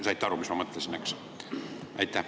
Saite aru, mis ma mõtlesin?